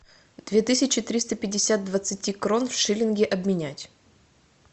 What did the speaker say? две тысячи триста пятьдесят двадцати крон в шиллинги обменять